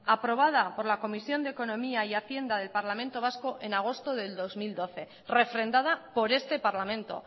aprobada por la comisión de economía y hacienda del parlamento vasco en agosto del dos mil doce refrendada por este parlamento